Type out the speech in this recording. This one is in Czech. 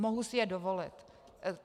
Mohu si je dovolit.